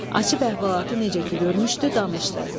Açıb əhvalatı necə ki görmüşdü, danışdı.